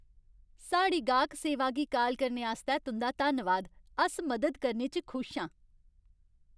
साढ़ी गाह्क सेवा गी काल करने आस्तै तुं'दा धन्नवाद। अस मदद करने च खुश आं।